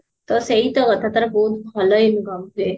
ତ ସେଇତ କଥା ତାର ବହୁତ ଭଲ income ହୁଏ